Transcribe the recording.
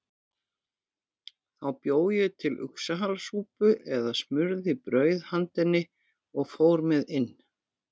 Þá bjó ég til uxahalasúpu eða smurði brauð handa henni og fór með inn.